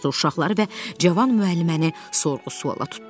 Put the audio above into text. Uşaqları və cavan müəlliməni sorğu-suala tutdular.